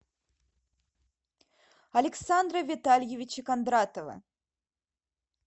александра витальевича кондратова